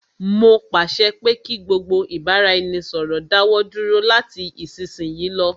Mó pàṣẹ pé kí gbogbo ìbáraẹnisọ̀rọ̀ dáwọ dúró lati isisiyi lọ.